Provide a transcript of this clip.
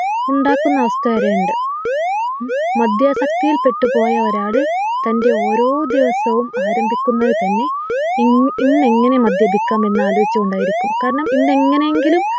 ഉണ്ടാക്കുന്ന അവസ്ഥ വരെയുണ്ട് ഹും മദ്യാസക്തിയിൽപ്പെട്ടുപോയ ഒരാള് തൻ്റെ ഓരോ ദിവസവും ആരംഭിക്കുന്നത് തന്നെ ഇൻ ഇന്നെങ്ങനെ മദ്യപിക്കാം എന്നാലോചിച്ചു കൊണ്ടായിരിക്കും കാരണം ഇന്ന് എങ്ങനെയെങ്കിലും